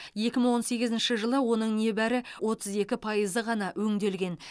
екі мың он сегізінші жылы оның небәрі отыз екі пайызы ғана өңделген